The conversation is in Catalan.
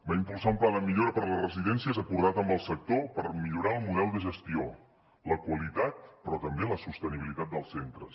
va impulsar un pla de millora per les residències acordat amb el sector per millorar el model de gestió la qualitat però també la sostenibilitat dels centres